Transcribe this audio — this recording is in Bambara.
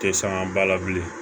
Tɛ sanga ba la bilen